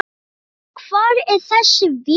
En hvar er þessi vél?